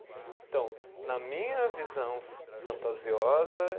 Então, na minha visão fantasiosa